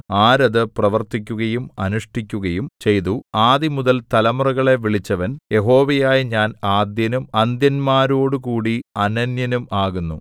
ആര് അത് പ്രവർത്തിക്കുകയും അനുഷ്ഠിക്കുകയും ചെയ്തു ആദിമുതൽ തലമുറകളെ വിളിച്ചവൻ യഹോവയായ ഞാൻ ആദ്യനും അന്ത്യന്മാരോടുകൂടി അനന്യനും ആകുന്നു